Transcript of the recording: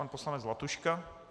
Pan poslanec Zlatuška.